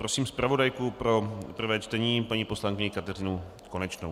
Prosím zpravodajku pro prvé čtení paní poslankyni Kateřinu Konečnou.